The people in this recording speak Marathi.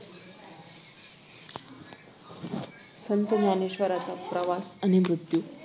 संत ज्ञानेश्वरांचा प्रवास आणि मृत्यू